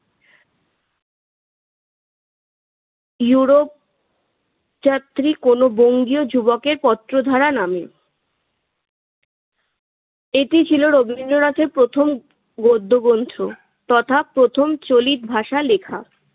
Europe যাত্রী কোনো বঙ্গীয় যুবকের পত্রধারা নামে। এটি ছিল রবীন্দ্রনাথের প্রথম গদ্য গ্রন্থ। তথা প্রথম চলিত ভাষায় লেখা।